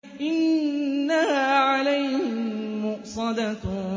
إِنَّهَا عَلَيْهِم مُّؤْصَدَةٌ